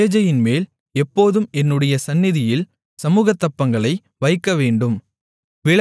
மேஜையின்மேல் எப்போதும் என்னுடைய சந்நிதியில் சமுகத்தப்பங்களை வைக்கவேண்டும்